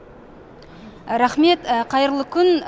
рақмет қайырлы күн